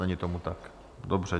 Není tomu tak, dobře.